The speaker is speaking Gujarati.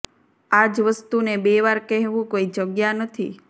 આ જ વસ્તુને બે વાર કહેવું કોઈ જગ્યા નથી